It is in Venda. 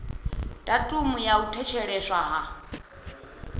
datumu ya u thetsheleswa ha